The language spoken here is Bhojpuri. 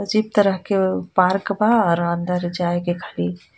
अजीब तरह के पार्क बा और अंदर जायेके खाली.